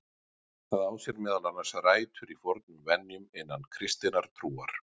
Það á sér meðal annars rætur í fornum venjum innan kristinnar trúar.